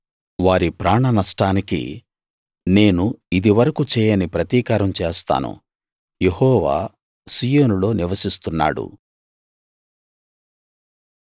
వారి ప్రాణ నష్టానికి నేను ఇదివరకూ చేయని ప్రతీకారం చేస్తాను యెహోవా సీయోనులో నివసిస్తున్నాడు